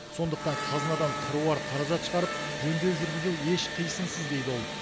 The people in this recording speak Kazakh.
сондықтан қазынадан қыруар қаражат шығарып жөндеу жүргізу еш қисынсыз дейді ол